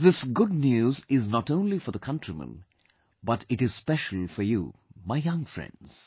This good news is not only for the countrymen, but it is special for you, my young friends